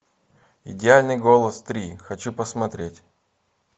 идеальный голос три хочу посмотреть